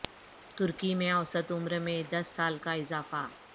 ترکی میں اوسط عمر میں دس سال کا اضافہ